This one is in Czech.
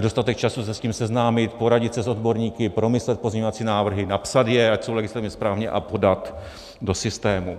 dostatek času se s tím seznámit, poradit se s odborníky, promyslet pozměňovací návrhy, napsat je, ať jsou legislativně správně, a podat do systému.